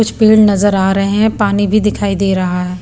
कुछ पेड़ नजर आ रहे हैं पानी भी दिखाई दे रहा है।